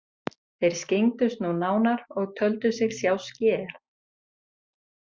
Þeir skyggndust nú nánar og töldu sig sjá sker.